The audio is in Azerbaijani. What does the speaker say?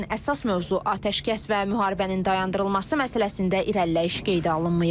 Lakin əsas mövzu atəşkəs və müharibənin dayandırılması məsələsində irəliləyiş qeydə alınmayıb.